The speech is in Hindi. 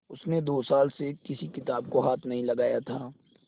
उसने दो साल से किसी किताब को हाथ नहीं लगाया था